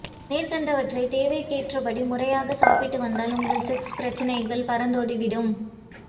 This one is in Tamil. மேற்கண்டவற்றை தேவைக்கேற்றபடி முறையாக சாப்பிட்டு வந்தால் உங்கள் செக்ஸ் பிரச்சனைகள் பறந்தோடி விடும்